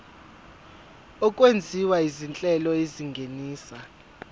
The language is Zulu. okwenziwa izinhlelo ezingenisa